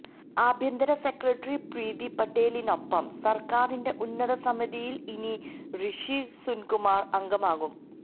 ആഭ്യന്തര സെക്രട്ടറി പ്രീതി പട്ടേലിനൊപ്പം സര്ക്കാരിന്റെ ഉന്നത സമിതിയില് ഇനി റിഷി സുനകും അംഗമാകും